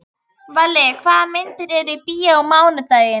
Valli, hvaða myndir eru í bíó á mánudaginn?